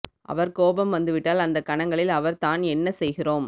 அவர் கோபம் வந்துவிட்டால் அந்தக் கணங்களில் அவர் தான் என்ன செய்கிறோம்